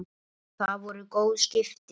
Það voru góð skipti.